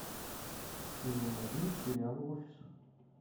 сезон один сериала офис